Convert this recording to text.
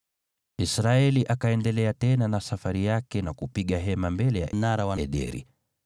Israeli akaendelea tena na safari yake na kupiga hema mbele mnara wa Ederi.